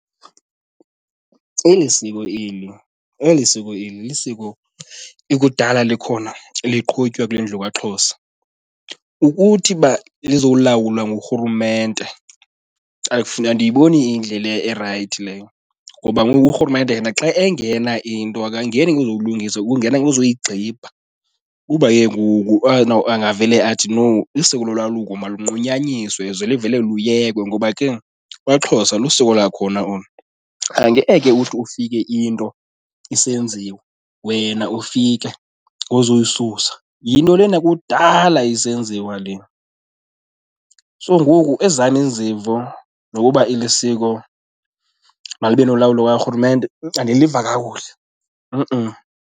Eli siko eli, eli siko eli lisiko ikudala likhona liqhutywa kule ndlu kwaXhosa. Ukuthi uba lizolawulwa nguRhulumente andiyiboni iyindlela erayithi leyo ngoba ngoku uRhulumente yena xa engena into akangeni ngokuzoyilungisa, ungena kuzoyigxibha kuba ke ngoku avele athi, no, isiko lolwaluko malunqunyanyiswe ze livele luyekwe. Ngoba ke kwaXhosa lisiko lakhona olu, angeke uthi ufike into isenziwa wena ufike ngozoyisusa, yinto lena kudala isenziwa le. So ngoku ezam izimvo ngokuba eli siko malibe nolawulo lukaRhulumente andiliva kakuhle .